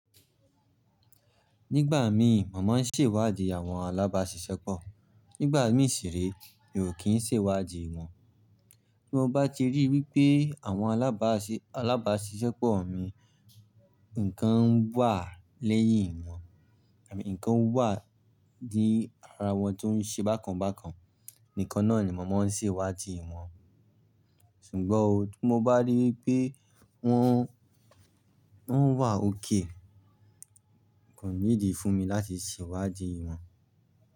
Nígbà mi mo má ń ṣè iwádìí àwọn alábáṣiṣẹ́pọ̀. Nígbà mí ṣì rí, mi o kí ń ṣè iwádìí wọn. Bí mo bá ti rí wípé àwọn alábáṣiṣẹ́pọ̀ mi ǹkan wà lẹ́yìn wọn, àbí ǹkan wà ní ara wọn tó ń ṣe bákan bákan, nìkan náà ni màmá ń ṣè iwádìí wọn. Sùgbọ́n o, tí mo bá rí wipé wọ́n, wọ́n wà ókay, kò need i fún mi láti ṣè iwádìí wọn.